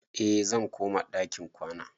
Eh, zan koma ɗakin kwana